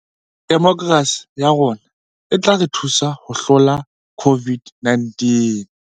Demokerasi ya rona e tla re thusa ho hlola COVID -19